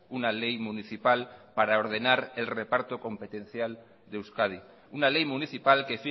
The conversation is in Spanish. una ley municipal para ordenar el reparto competencial de euskadi una ley municipal que